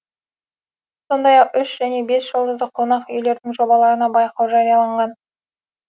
сондай ақ үш және бес жұлдызды қонақ үйлердің жобаларына байқау жарияланған